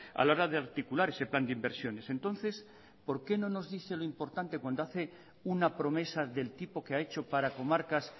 a la hora de articular ese plan de inversiones entonces por qué no nos dice lo importante cuando hace una promesa del tipo que ha hecho para comarcas